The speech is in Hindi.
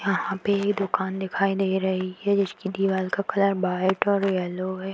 यहां पे दुकान दिखाई दे रही है जिसकी दीवाल का कलर व्हाइट और येलो है।